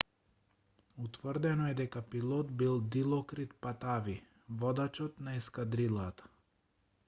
утврдено е дека пилот бил дилокрит патави водачот на ескадрилата